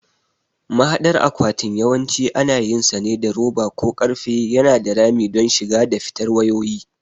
Mahadar akwatin yawanci ana yinsa ne da roba ko ƙarfe yana da rami don shiga da fitar wayoyi.